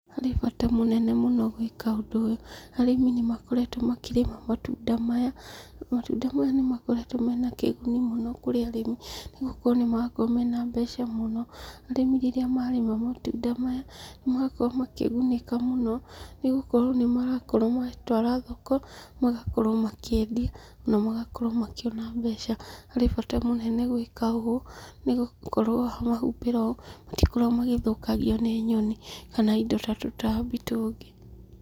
Harĩ bata mũnene mũno gwĩka ũndũ ũyũ, arĩmi nĩmakoretwo makĩrĩma matunda maya, matunda maya nĩmakoretwo mena kĩguni mũno, kũrĩ arĩmi, nĩgũkorwo nĩmarakorwo mena mbeca mũno. Arĩmi rĩrĩa marĩma matunda maya, nĩmarakorwo makĩgunĩka mũno, nĩgũkorwo nĩmarakorwo matwara thoko, magakorwo makĩendia, na magakorwo makĩona mbeca. Harĩ bata mũnene gwĩka ũũ, nĩgũkorwo wamahumbĩra ũũ, matikoragwo magĩthũkangio nĩ nyoni, kana indo ta tũtambi tũngĩ.